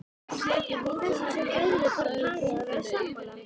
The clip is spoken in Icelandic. Í þessu sem öðru þarf parið að vera sammála.